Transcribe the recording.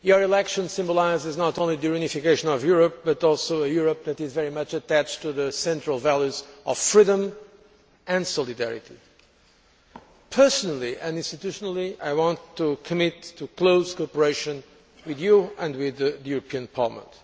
Your election symbolises not only the reunification of Europe, but also a Europe that is very much attached to the central values of freedom and solidarity. Personally and institutionally I want to commit to close cooperation with you and with the European Parliament.